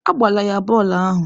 Agbalaala ya bọọlụ ahụ.